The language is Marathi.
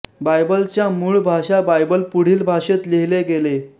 बायबलच्या मूळ भाषा बायबल पुढील भाषेत लिहिले गेले